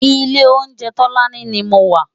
Ilé óunjè Tolani ni mó wà